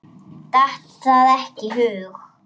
Datt það ekki í hug.